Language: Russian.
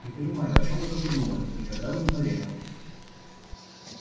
не понимаю о чём вы только думали никогда бы не поверила